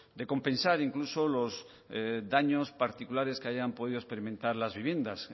de compensar incluso los daños particulares que hayan podido experimentar las viviendas